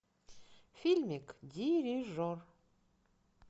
фильмик дирижер